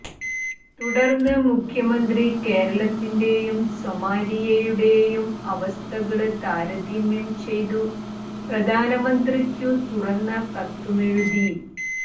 തുടര്ന്നു മുഖ്യമന്ത്രി കേരളത്തിന്റെയും സൊമാലിയയുടെയും അവസ്ഥകള് താരതമ്യം ചെയ്തു പ്രധാനമന്ത്രിക്കു തുറന്ന കത്തുമെഴുതി